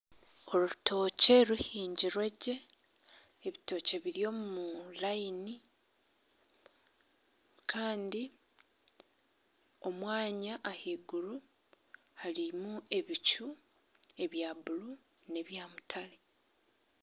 Orutookye ruhingirwe gye ebitookye biri omu rayini kandi omwanya ahaiguru harimu ebicu ebya buuru nebya mutare.